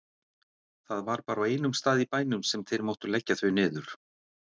Það var bara á einum stað í bænum sem þeir máttu leggja þau niður.